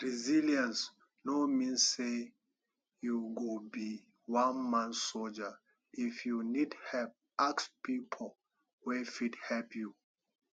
resillience no mean sey you go be one man soldier if you need help ask pipo wey fit help you